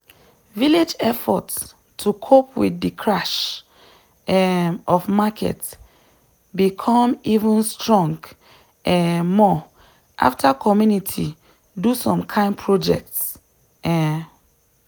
village effort to cope with de crash um of market be come even strong um more after community do some kind projects. um